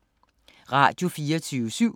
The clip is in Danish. Radio24syv